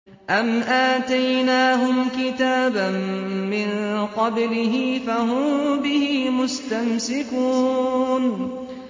أَمْ آتَيْنَاهُمْ كِتَابًا مِّن قَبْلِهِ فَهُم بِهِ مُسْتَمْسِكُونَ